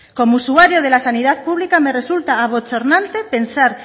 como usuaria de la sanidad pública me resulta abochornante pensar